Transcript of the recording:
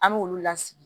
An b'olu lasigi